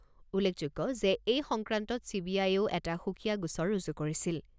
উল্লেখযোগ্য যে এই সংক্ৰান্তত চি বি আয়েও এটা সুকীয়া গোচৰ ৰুজু কৰিছিল।